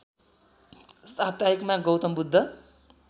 साप्ताहिकमा Gautam Buddha